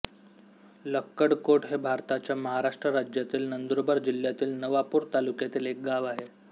लक्कडकोट हे भारताच्या महाराष्ट्र राज्यातील नंदुरबार जिल्ह्यातील नवापूर तालुक्यातील एक गाव आहे